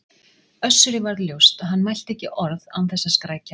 Össuri varð ljóst að hann mælti ekki orð án þess að skrækja.